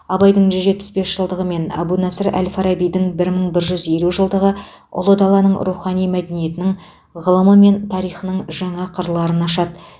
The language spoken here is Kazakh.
абайдың жүз жетпыс бес жылдығы мен әбу насыр әл фарабидің бір мың бір жүз елу жылдығы ұлы даланың рухани мәдениетінің ғылымы мен тарихының жаңа қырларын ашады